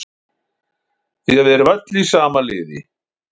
Því við erum öll í sama liði.